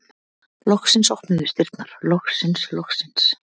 Loksins opnuðust dyrnar, loksins, loksins!